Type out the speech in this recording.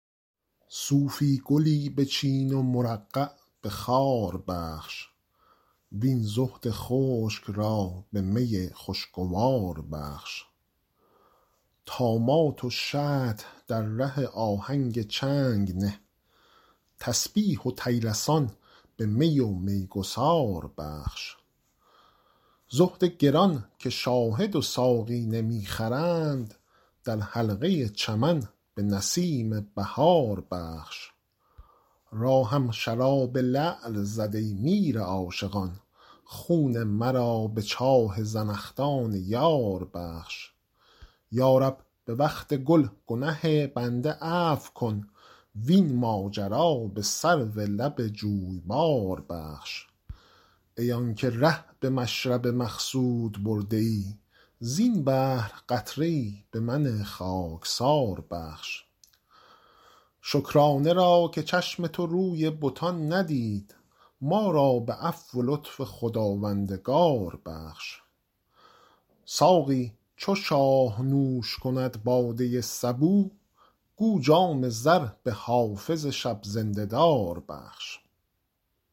صوفی گلی بچین و مرقع به خار بخش وین زهد خشک را به می خوشگوار بخش طامات و شطح در ره آهنگ چنگ نه تسبیح و طیلسان به می و میگسار بخش زهد گران که شاهد و ساقی نمی خرند در حلقه چمن به نسیم بهار بخش راهم شراب لعل زد ای میر عاشقان خون مرا به چاه زنخدان یار بخش یا رب به وقت گل گنه بنده عفو کن وین ماجرا به سرو لب جویبار بخش ای آن که ره به مشرب مقصود برده ای زین بحر قطره ای به من خاکسار بخش شکرانه را که چشم تو روی بتان ندید ما را به عفو و لطف خداوندگار بخش ساقی چو شاه نوش کند باده صبوح گو جام زر به حافظ شب زنده دار بخش